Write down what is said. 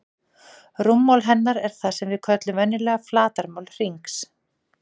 Rúmmál hennar er það sem við köllum venjulega flatarmál hringsins.